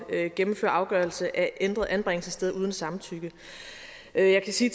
at gennemføre afgørelse af ændret anbringelsessted uden samtykke jeg kan sige